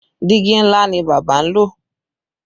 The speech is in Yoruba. Diigi ńlá ni bábà ń lò